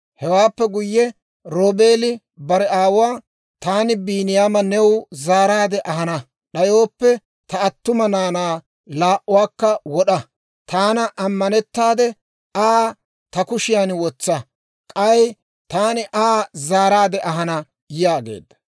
Hewaappe guyye Roobeeli bare aawuwaa, «Taani Biiniyaama new zaaraadde ahana d'ayooppe, ta attuma naanaa laa"uwaakka wod'a; taana ammanettaade Aa ta kushiyaan wotsa; k'ay taani Aa zaaraadde ahana» yaageedda.